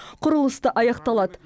құрылыс та аяқталады